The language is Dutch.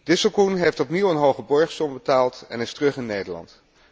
Disselkoen heeft opnieuw een hoge borgsom betaald en is terug in Nederland.